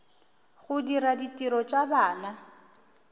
go dira ditiro tša bana